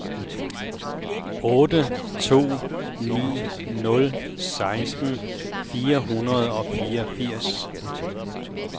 otte to ni nul seksten fire hundrede og fireogfirs